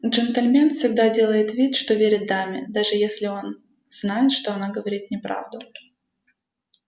джентльмен всегда делает вид что верит даме даже если он знает что она говорит неправду